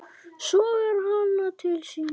Sogar hana til sín.